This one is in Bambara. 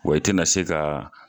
Wa i tɛna se ka.